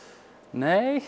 nei